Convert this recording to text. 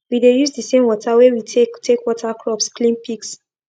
we dey use the same water wey we take take water crops clean pigs